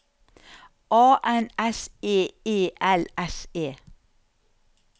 A N S E E L S E